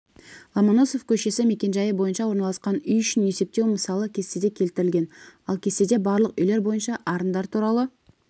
ломоносов көшесі мекенжайы бойынша орналасқан үй үшін есептеу мысалы кестеде келтірілген ал кестеде барлық үйлер бойынша арындар туралы